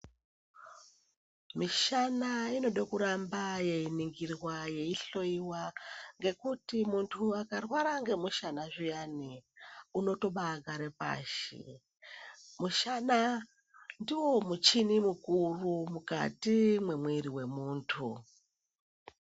Mishana inoda kuramba yeiningirwa, yeihloyiwa ngekuti muntu akarwara ngemushana zviyani unotobaagara pashi. Mushana ndiwo muchini mukuru mukati memwiri wemuntu.